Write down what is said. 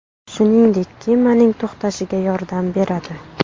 Shuningdek, kemaning to‘xtashiga yordam beradi.